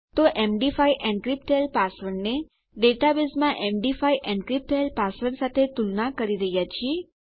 તો MD five encrypt થયેલ પાસવર્ડને ડેટાબેઝમાં એમડી5 એનક્રિપ્ટ થયેલ પાસવર્ડ સાથે તુલના કરી રહ્યા છીએ